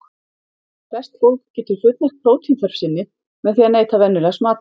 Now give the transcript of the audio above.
Flest fólk getur fullnægt prótínþörf sinni með því að neyta venjulegs matar.